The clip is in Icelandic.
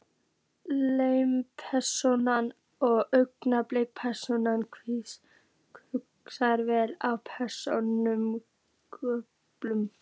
Lykilpersónur og aukapersónur, hlutverk og persónusköpun